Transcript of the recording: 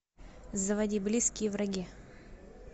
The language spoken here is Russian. заводи близкие враги